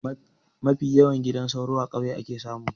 Mafi yawan gidan soro a kauye ake samu